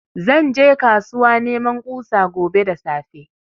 Zan je kasuwa neman kusa gobe da safe